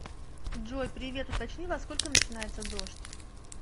джой привет уточни во сколько начинается дождь